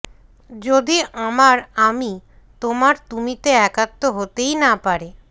যদি আমার আমি তোমার তুমিতে একাত্ম হতেই না পারে